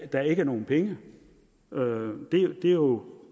der ikke er nogen penge det er jo